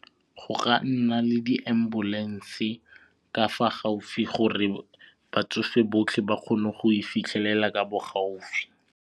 Go ka nna le di-ambulance ka fa gaufi gore batsofe botlhe ba kgone go e fitlhelela ka bo gaufi.